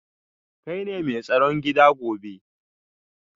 Kai ne mai tsaron gida gobe